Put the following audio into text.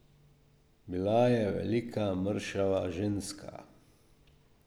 Bila je velika, mršava ženska.